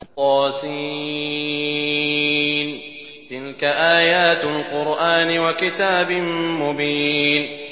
طس ۚ تِلْكَ آيَاتُ الْقُرْآنِ وَكِتَابٍ مُّبِينٍ